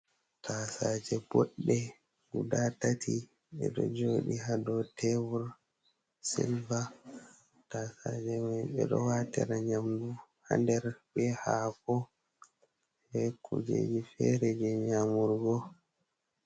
Tasaje boɗɗe guda tati ɗeɗo joɗi ha dow tebur silva. Tasaje mai ɓeɗo watira nyamdu ha nder be haako be kujeji fere je nyamurgo.